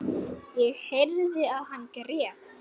Ég heyrði að hann grét.